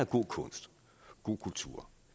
god kunst god kultur